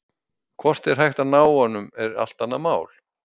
Hvort hægt sé að ná honum er allt annað mál.